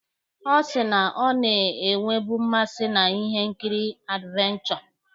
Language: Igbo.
Ọ sị na ọ na-enwebu mmasị na ihe nkiri advenchọ.